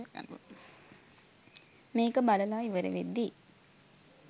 මේක බලලා ඉවර වෙද්දී